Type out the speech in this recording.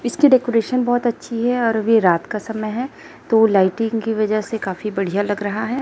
इसकी डेकोरेशन बहुत अच्छी है और अभी रात का समय है तो लाइटिंग की वजह से काफी बढ़िया लग रहा है।